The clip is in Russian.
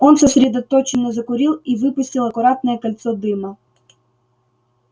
он сосредоточенно закурил и выпустил аккуратное кольцо дыма